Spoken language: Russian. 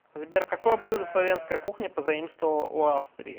сбер какое блюдо словенская кухня позаимствовала у австрии